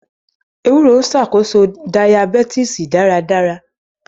Ewúro ń ṣàkóso Dayabítìsì dáradára.